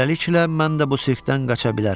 Beləliklə mən də bu sirkdən qaça bilərəm.